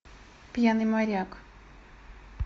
пьяный моряк